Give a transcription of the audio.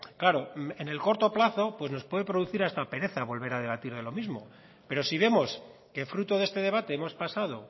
claro en el corto plazo pues nos puede producir hasta pereza volver a debatir de lo mismo pero si vemos que fruto de este debate hemos pasado